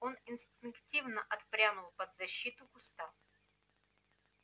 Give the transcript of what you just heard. он инстинктивно отпрянул под защиту куста